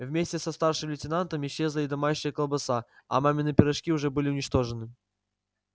вместе со старшим лейтенантом исчезла и домашняя колбаса а мамины пирожки уже были уничтожены